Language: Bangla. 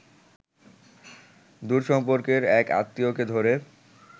দূরসম্পর্কের এক আত্মীয়কে ধরে